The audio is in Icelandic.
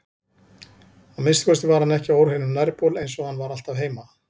Að minnsta kosti var hann ekki á óhreinum nærbol eins og hann var alltaf heima.